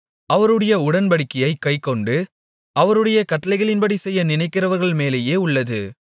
அவருடைய உடன்படிக்கையைக் கைக்கொண்டு அவருடைய கட்டளைகளின்படி செய்ய நினைக்கிறவர்கள் மேலேயே உள்ளது